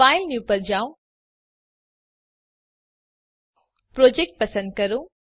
file new પર જાઓProject પસંદ કરો